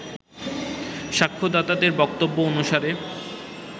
সাক্ষ্যদাতাদের বক্তব্য অনুসারে